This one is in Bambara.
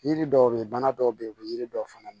Yiri dɔw be ye bana dɔw bɛ yen u bɛ yiri dɔw fana